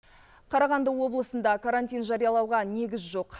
қарағанды облысында карантин жариялауға негіз жоқ